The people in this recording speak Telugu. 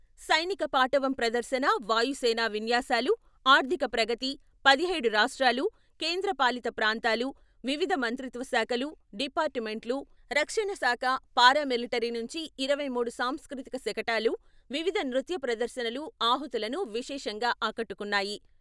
సైనిక పాటవం ప్రదర్శన, వాయు సేనా విన్యాసాలు, ఆర్థిక ప్రగతి, పదిహేడు రాష్ట్రాలు, కేంద్ర పాలిత ప్రాంతాలు, వివిధ మంత్రిత్వశాఖలు, డిపార్టు మెంట్లు, రక్షణ శాఖ, పారామిలటరీ నుంచి ఇరవై మూడు సాంస్కృతిక శకటాలు, వివిధ నృత్య ప్రదర్శనలు ఆహుతులను విశేషంగా ఆకట్టుకున్నాయి.